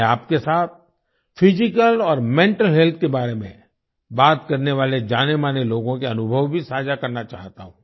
मैं आपके साथ फिजिकल और मेंटल हेल्थ के बारे में बात करने वाले जानेमाने लोगों के अनुभव भी साझा करना चाहता हूँ